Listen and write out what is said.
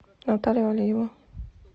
наталью алиеву